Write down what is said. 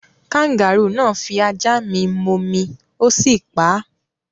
Kangarúù náà fi ajá mi momi, ó sì pa á.